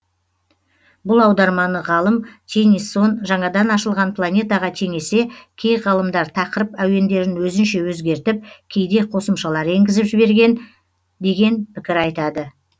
бұл аударманы ғалым теннисон жаңадан ашылған планетаға теңесе кей ғалымдар тақырып әуендерін өзінше өзгертіп кейде қосымшалар енгізіп жіберген деген пікір айтады